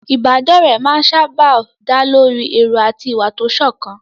Ìbádọ́rẹ̀ẹ́ máa ń sáábà dá lórí èrò àti ìwà tó sọ̀kan.